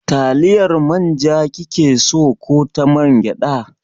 Taliyar manja kike so ko ta mangyaɗa?